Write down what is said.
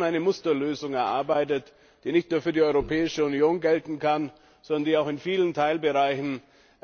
eine Musterlösung erarbeitet, die nicht nur für die Europäische Union gelten kann, sondern die in vielen Teilbereichen auch